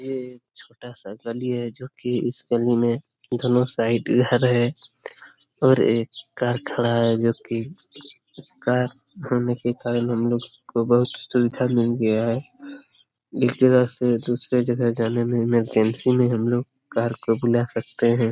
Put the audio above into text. ये छोटा सा गली है जो कि इस गली में दोनों साइड घर है और एक कार खाड़ा है जो कि कार होने के कारण हम लोग को बहुत सुविधा मिल गया है एक जगह से दूसरे जगह जाने में इमरजेंसी में हम लोग कार को बुला सकते हैं।